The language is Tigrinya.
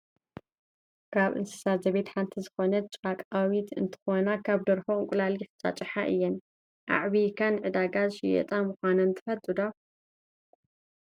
ካብ እንስሳ ዘቤት ሓንቲ ዝኮነት ጫቃዊት እንትኮና ካብ ናይ ደርሆ እንቁላሊሕ ዝጭጫሓ እየን። ኣዕብይካ ንዕዳጋ ዝሽየጣ ምኳነን ትፈልጡ ዶ ?